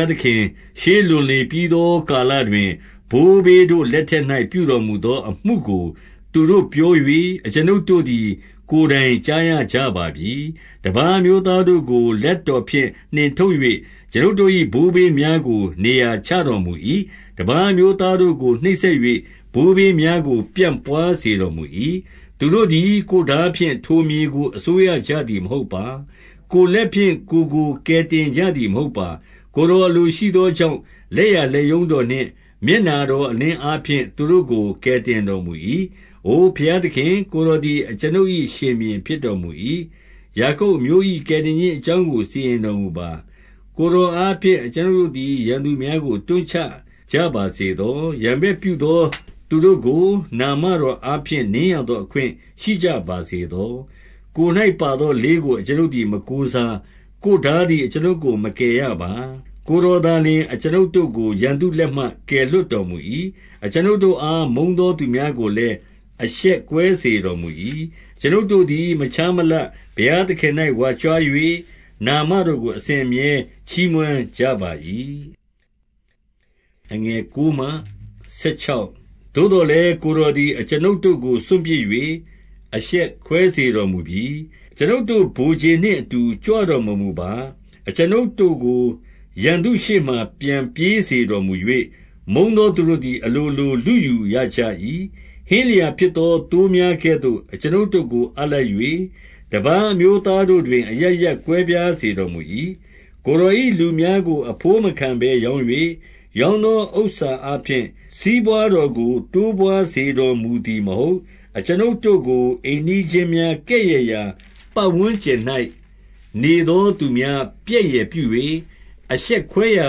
ားသခင်၊ ရှေးလွန်လေပြီးသောကာလ တွင်၊ ဘိုးဘေးတို့လက်ထက်၌ ပြုတော်မူသောအမှုကို သူတို့ပြော၍၊ အကျွန်ုပ်တို့သည် ကိုယ်တိုင်ကြားရကြပါပြီ။ 2 တပါးအမျိုးသားတို့ကို လက်တော်ဖြင့်နှင်ထုတ် ၍ အကျွန်ုပ်တို့၏ ဘိုးဘေးများကို နေရာချတော်မူ၏။ တပါးအမျိုးသားတို့ကို နှိပ်စက်၍ ဘိုးဘေးများကို ပြန့်ပွါး စေတော်မူ၏။ 3 သူတို့သည် ကိုယ်ထားဖြင့် ထိုမြေကိုအစိုးရကြ သည်မဟုတ်ပါ။ ကိုယ်လက်ဖြင့် ကိုယ်ကို ကယ်တင်ကြ သည်မဟုတ်ပါ။ ကိုယ်တော်အလိုရှိသောကြောင့် လက်ျာလက်ရုံးတော်နှင့် မျက်နှာတော်အလင်းအားဖြင့် သူတို့ကို ကယ် တင်တော်မူ၏။ 4 အိုဘုရားသခင်၊ ကိုယ်တော်သည် အကျွန်ုပ်၏ ရှင်ဘုရင်ဖြစ်တော်မူ၏။ ယာကုပ်အမျိုး၏ ကယ်တင်ခြင်း အကြောင်းကို စီရင်တော်မူပါ။ 5 ကိုယ်တော်အားဖြင့် အကျွန်ုပ်တို့သည် ရန်သူ များကို တွန်းချကြပါစေသော။ ရန်ဘက်ပြုသောသူတို့ကို နာမတော်အားဖြင့်နင်းရသော အခွင့်ရှိကြပါစေသော။ 6 ကိုယ်၌ပါသောလေးကို အကျွန်ုပ်သည် မကိုး စား။ ကိုယ်ထားသည် အကျွန်ုပ်ကို မကယ်ရပါ။ 7 ကိုယ်တော်သာလျှင် အကျွန်ုပ်တို့ကို ရန်သူလက် မှကယ်လွှတ်တော်မူ၏။ အကျွန်ုပ်တို့အား မုန်းသော သူများကိုလည်း အရှက်ကွဲစေတော်မူ၏။ 8 အကျွန်ုပ်တို့သည် မခြားမလပ်ဘုရားသခင်၌ ဝါကြွား၍ နာမတော်ကို အစဉ်အမြဲ ချီးမွမ်းကြပါ၏။ 9 သို့သော်လည်း၊ ကိုယ်တော်သည် အကျွန်ုပ်တို့ကို စွန့်ပစ်၍ အရှက်ကွဲစေတော်မူပြီး။ အကျွန်ုပ်တို့ ဗိုလ်ခြေ နှင့်အတူ ကြွတော်မမူပါ။ 10 အကျွန်ုပ်တို့ကို ရန်သူရှေ့မှာပြန်ပြေးစေ တော်မူ၍၊ မုန်းသောသူတို့သည် အလိုလိုလုယူရကြ၏။ 11 ဟင်းလျာဖြစ်သောသိုးများကဲ့သို့ အကျွန်ုပ်တို့ကို အပ်လိုက်၍၊ တပါးအမျိုးသားတို့တွင် အရပ်ရပ်ကွဲပြားစေ တော်မူ၏။ 12 ကိုယ်တော်၏ လူများကိုအဘိုးမခံဘဲရောင်း၍၊ ရောင်းသောအားဖြင့် စီးပွါးတော်ကို တိုးပွါးစေတော်မူ သည်မဟုတ်။ 13 အကျွန်ုပ်တို့ကို အိမ်နီးချင်းများကဲ့ရဲ့ရာ ပတ်ဝန်း ကျင်၌နေသော သူများပြက်ယယ်ပြု၍၊ အရှက်ခွဲရာ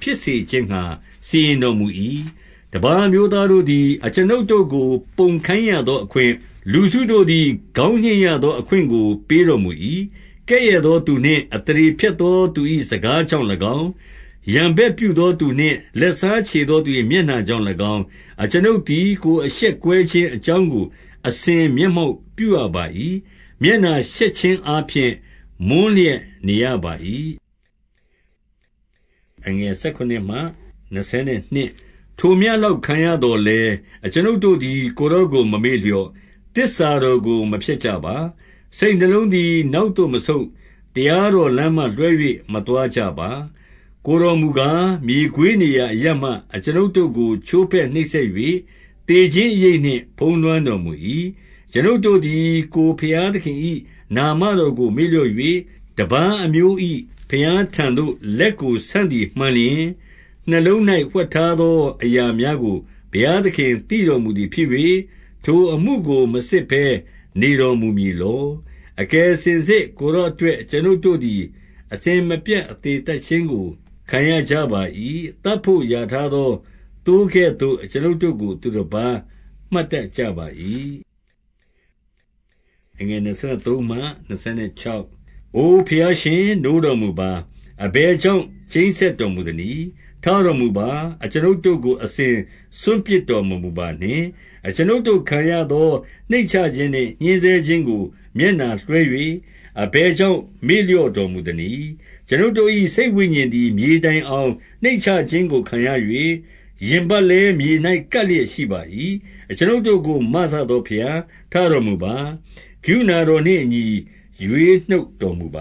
ဖြစ်စေခြင်းငှါ စီရင်တော်မူ၏။ 14 တပါးအမျိုးသားတို့သည် အကျွန်ုပ်တို့ကို ပုံခိုင်း ရသောအခွင့်၊ လူစုတို့သည် ခေါင်းညှိတ်ရသောအခွင့်ကို ပေးတော်မူ၏။ 15 ကဲ့ရဲ့သောသူနှင့် အသရေဖျက်သော သူ၏ စကားကြောင့်၎င်း၊ 16 ရန်ဘက်ပြုသောသူနှင့် လက်စားချေသောသူ၏ မျက်နှာများကြောင့်၎င်း၊ အကျွန်ုပ်သည် ကိုယ်အရှက် ကွဲခြင်းအကြောင်းကို အစဉ်မျက်မှောက်ပြုရပါ၏။ မျက်နှာရှက်ခြင်းအားဖြင့် မွန်းလျက်နေရပါ၏။ 17 ထိုမျှလောက်ခံရသော်လည်း၊ အကျွန်ုပ်တို့သည် ကိုယ်တော်ကို မမေ့မလျော့။ သစ္စာတော်ကိုမဖျက်ကြပါ။ 18 စိတ်နှလုံးသည် နောက်သို့မဆုတ်၊ တရားတော် လမ်းမှလွှဲ၍ မသွားကြပါ။ 19 ကိုယ်တော်မူကား၊ မြေခွေးနေရာအရပ်မှာ အကျွန်ုပ်တို့ကို ချိုးဖဲ့နှိပ်စက်၍၊ သေခြင်းအရိပ်နှင့် ဖုံးလွှမ်း တော်မူ၏။ 20 အကျွန်ုပ်တို့သည် ကိုယ်ဘုရားသခင်၏ နာမ တော်ကိုမေ့လျော့၍၊ တပါးအမျိုး၏ ဘုရားထံသို့ လက်ကိုဆန့်သည်မှန်လျှင်၊ 21 နှလုံး၌ဝှက်ထားသော အရာများကိုဘုရားသခင် သိတော်မူသည်ဖြစ်၍၊ ထိုအမှုကိုမစစ်ဘဲနေတော်မူ မည်လော။ 22 အကယ်စင်စစ် ကိုယ်တော်အတွက် အကျွန်ုပ်တို့ သည် အစဉ်မပြတ်အသေသတ်ခြင်းကို ခံရကြပါ၏။ သတ်ဘို့ရာထားသောသိုးကဲ့သို့ အကျွန်ုပ်တို့ကို သူတပါး မှတ်တတ်ကြပါ၏။ 23 အိုဘုရားရှင်၊ နိုးတော်မူပါ။ အဘယ်ကြောင့် ကျိန်းစက်တော်မူသနည်း။ ထတော်မူပါ။ အကျွန်ုပ်တို့ကို အစဉ်စွန့်ပစ်တော်မမူပါနှင့်။ 24 အကျွန်ုပ်တို့ ခံရသောနှိမ့်ချခြင်းနှင့် ညှဉ်းဆဲခြင်း ကို မျက်နှာတော်လွှဲ၍ အဘယ်ကြောင့်မေ့လျော့တော် မူသနည်း။ 25 အကျွန်ုပ်တို့၏စိတ်ဝိညာဉ်သည် မြေတိုင်အောင် နှိမ့်ချခြင်းကို ခံရ၍၊ ရင်ပတ်လည်းမြေ၌ကပ်လျက်ရှိပါ၏။ 26 အကျွန်ုပ်တို့ကို မစသောဘုရား၊ ထတော်မူပါ။ ကရုဏာတော်နှင့်အညီ ရွေးနှုတ်တော်မူပ